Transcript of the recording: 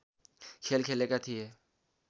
खेल खेलेका थिए